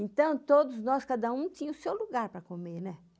Então, todos nós, cada um, tinha o seu lugar para comer, né?